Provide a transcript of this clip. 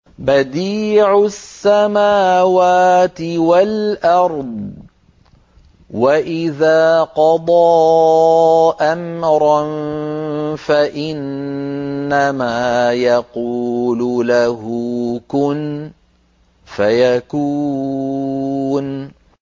بَدِيعُ السَّمَاوَاتِ وَالْأَرْضِ ۖ وَإِذَا قَضَىٰ أَمْرًا فَإِنَّمَا يَقُولُ لَهُ كُن فَيَكُونُ